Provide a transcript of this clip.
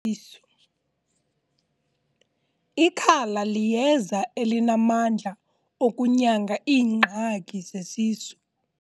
Ikhala liyeza elinamandla okunyanga iingxaki zesisu.